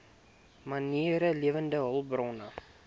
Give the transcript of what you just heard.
mariene lewende hulpbronne